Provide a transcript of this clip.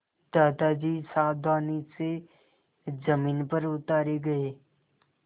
दादाजी सावधानी से ज़मीन पर उतारे गए